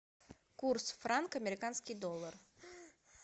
курс франк американский доллар